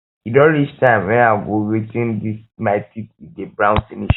e don reach time wen i go whi ten dis my teeth e don brown finish